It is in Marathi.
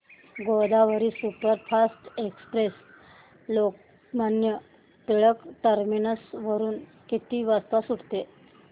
Godavari superfast express Lokmanya Tilak terminus वरून किती वाजता सुटते